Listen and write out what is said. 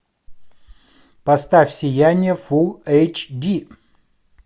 поставь сияние фулл эйч ди